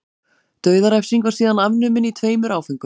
dauðarefsing var síðan afnumin í tveimur áföngum